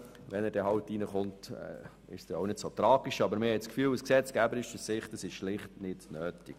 Sollte er angenommen werden, wäre es auch nicht so tragisch, aber aus gesetzgeberischer Sicht ist es schlicht nicht nötig.